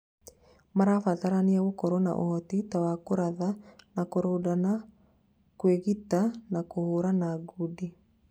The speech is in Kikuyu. marabatarania gũkorwo na ũhoti ta wa kũratha na kũrũndana, kwigita na kũhũrana ngundi